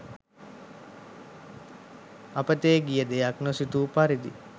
අපතේ ගිය දෙයක්‌ නොසිතූ පරිදි